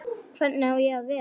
Hvernig á ég að vera?